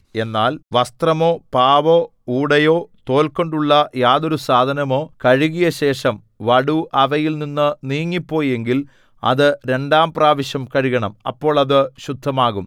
എന്നാൽ വസ്ത്രമോ പാവോ ഊടയോ തോൽകൊണ്ടുള്ള യാതൊരു സാധനമോ കഴുകിയശേഷം വടു അവയിൽ നിന്നു നീങ്ങിപ്പോയി എങ്കിൽ അത് രണ്ടാം പ്രാവശ്യം കഴുകണം അപ്പോൾ അത് ശുദ്ധമാകും